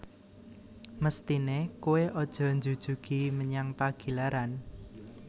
Mesthine koe aja njujugi menyang Pagilaran